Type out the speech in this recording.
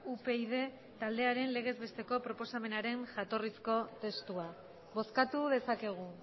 upyd taldearen legez besteko proposamenaren jatorrizko testua bozkatu dezakegu